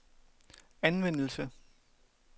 anvendelse